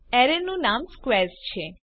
એરેનું નામ સ્ક્વેર્સ છે